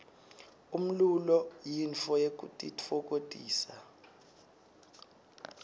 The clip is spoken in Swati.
umlulo yintfo yekutitfokotisa